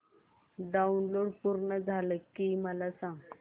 download पूर्ण झालं की मला सांग